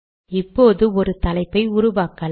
இப்போது ஒரு தலைப்பை உருவாக்கலாம்